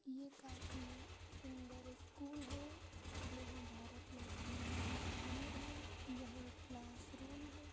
ये काफ़ी सुन्दर स्कूल है। यहाँ भारत माता की तस्वीर है। यहाँ क्लासरूम है।